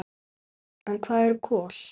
En hvað eru kol?